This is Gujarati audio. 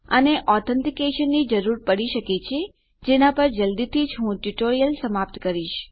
આને ઓથેંટીકેશન પ્રમાણીકરણ ની જરૂર પડી શકે છે જેનાં પર જલ્દી જ હું ટ્યુટોરીયલને સમાપ્ત કરીશ